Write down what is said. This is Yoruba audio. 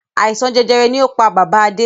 Àìsàn jẹjẹrẹ ni ó pá bàbá Adé.